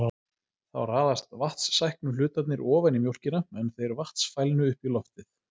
Þá raðast vatnssæknu hlutarnir ofan í mjólkina en þeir vatnsfælnu upp í loftið.